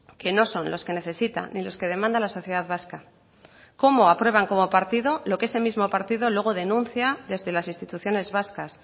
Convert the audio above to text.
que no son los que necesita ni los que demanda la sociedad vasca cómo aprueban como partido lo que ese mismo partido luego denuncia desde las instituciones vascas